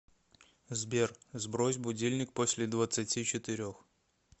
сбер сбрось будильник после двадцати четырех